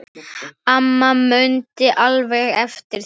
Amma mundi alveg eftir því.